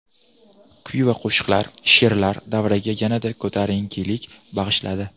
Kuy va qo‘shiqlar, she’rlar davraga yanada ko‘tarinkilik bag‘ishladi.